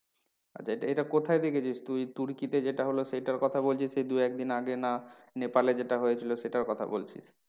আচ্ছা এটা, এটা কোথায় দেখেছিস তুই তুর্কিতে যেটা হলো সেটার কথা বলছিস এই দু এক দিন আগে না নেপালে যেটা হয়েছিল সেটার কথা বলছিস?